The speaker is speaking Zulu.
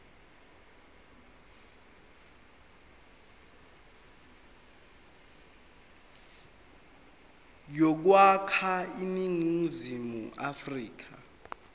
yokwakha iningizimu afrika